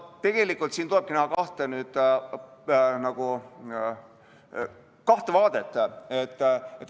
Tegelikult siin ongi nagu kaks vaadet.